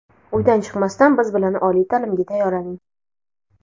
Uydan chiqmasdan biz bilan oliy ta’limga tayyorlaning.